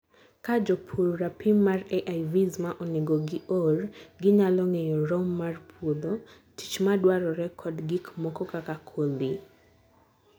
kaa jopur rapim mar AIVs ma onego gi or, ginyalo ng'eyo rom mar puodho, tich madwarore kod gikmoko kaka kodhi